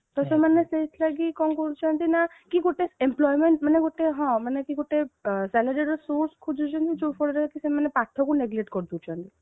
ତ ସେମାନେ ସେଇଥିଲାଗି କଣ କରୁଛନ୍ତି ନା କି ଗୋଟେ employment ମାନେ ଗୋଟେ ହଁ ମାନେ କି ଗୋଟେ salary ର source ଖୋଜୁଛନ୍ତି ଜଉ ଫଳରେ କି ସେମାନେ ପାଠକୁ neglect କରି ଦେଉଛନ୍ତି